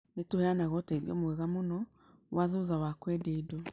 Nĩ tũheanaga ũteithio mwega mũno wa thutha wa kwendia indo.